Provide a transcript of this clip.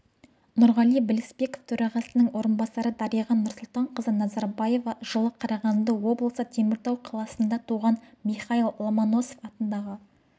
нұрғали білісбеков төрағасының орынбасары дариға нұрсұлтанқызы назарбаева жылы қарағанды облысы теміртау қаласында туған михайл ломоносов атындағы